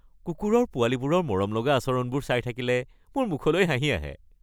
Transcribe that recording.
কুকুৰৰ পোৱালীবোৰৰ মৰমলগা আচৰণবোৰ চাই থাকিলে মোৰ মুখলৈ হাঁহি আহে।